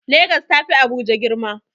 Legas ta fi Abuja girma.